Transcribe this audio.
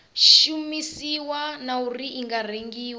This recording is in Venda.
shumisiwa na uri i rengiwa